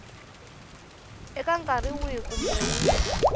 eka nkarhi wihi kumbe wihi